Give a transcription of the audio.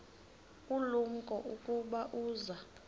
ulumko ukuba uza